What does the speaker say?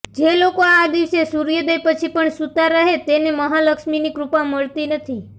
જે લોકો આ દિવસે સૂર્યોદય પછી પણ સૂતા રહે છે તેને મહાલક્ષ્મીની કૃપા મળતી નથી